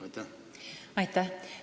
Aitäh!